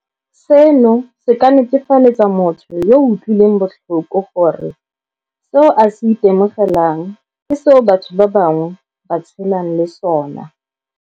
Seno se ka netefaletsa motho yo o utlwilweng botlhoko gore seo a se itemogelang ke seo batho ba bangwe ba tshelang le sona.